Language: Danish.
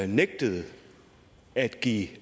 nægtede at give